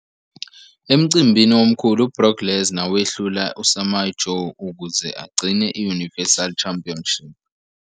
Emcimbini omkhulu, u-Brock Lesnar wehlule i-Samoa Joe ukuze igcine i-Universal Championship.